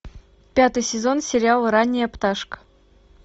пятый сезон сериала ранняя пташка